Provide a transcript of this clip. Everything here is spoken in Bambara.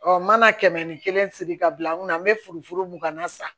n mana kɛmɛ ni kelen siri ka bila n kunna n bɛ furu mun ka na sa